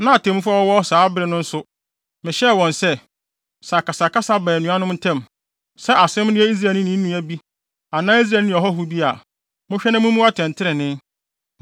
Na atemmufo a wɔwɔ hɔ saa bere no nso, mehyɛɛ wɔn sɛ, “Sɛ akasakasa ba anuanom ntam, sɛ asɛm no yɛ Israelni ne ne nua bi anaa Israelni ne ɔhɔho bi a, monhwɛ na mummu atɛntrenee.